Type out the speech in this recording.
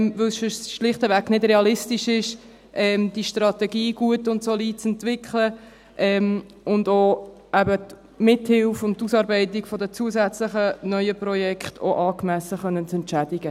Denn sonst ist es schlichtweg nicht realistisch, diese Strategie gut und solide zu entwickeln und auch die Mithilfe und Ausarbeitung von zusätzlichen neuen Projekten angemessen entschädigen zu können.